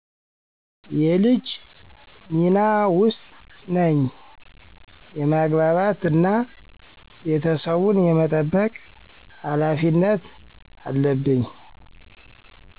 የልጅ ሚና ውስጥ ነኚ የማግባባት እና ቤተሰቡን የመጠበቅ ሀላፊነት አለብኚ